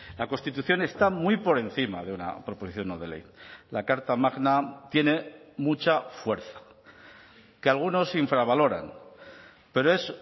la constitución está muy por encima de una proposición no de ley la carta magna tiene mucha fuerza que algunos infravaloran pero es